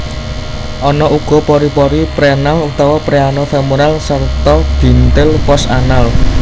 Ana uga pori pori preanal utawa preano femoral sarta bintil post anal